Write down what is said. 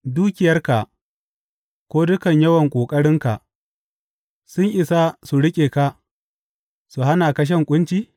Dukiyarka ko dukan yawan ƙoƙarinka sun isa su riƙe ka su hana ka shan ƙunci?